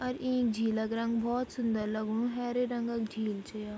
अर इं झील क रंग भोत सुन्दर लगनु हैरी रंग क झील च या ।